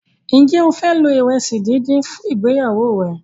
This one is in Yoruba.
Njé o fẹ lo iresi dín dín fún ìgbéyàwó rẹ?